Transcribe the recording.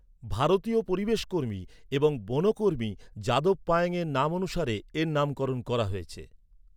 ভারতীয় পরিবেশকর্মী এবং বনকর্মী যাদব পায়েংয়ের নাম অনুসারে এর নামকরণ করা হয়েছে।